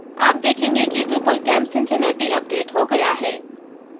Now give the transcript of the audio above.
आप देखेंगे कि drupalcamp cincinnati अपडेट हो गया है